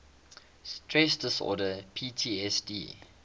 stress disorder ptsd